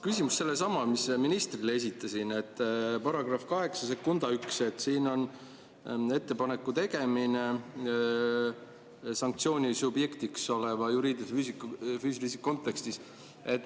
Küsimus on seesama, mis ma ministrile esitasin: § 81, ettepaneku tegemine sanktsiooni subjektiks oleva juriidilise või füüsilise isiku kontekstis.